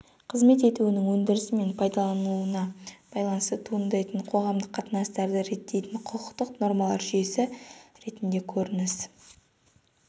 қызмет етуінің өндірісі мен пайдаланылуына байланысты туындайтын қоғамдық қатынастарды реттейтін құқықтық нормалар жүйесі ретінде көрініс